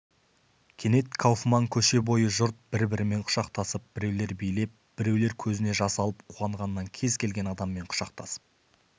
кенет кауфман көше бойы жұрт бір-бірімен құшақтасып біреулер билеп біреулер көзіне жас алып қуанғаннан кез келген адаммен құшақтасып